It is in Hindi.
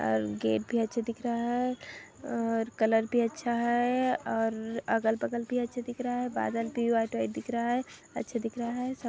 और गेट भी अच्छा दिख रहा हैं और कलर भी अच्छा हैं और अगल-बगल भी अच्छे दिख रहा हैं बादल भी व्हाइट व्हाइट दिख रहा हैं अच्छा दिख रहा हैं ।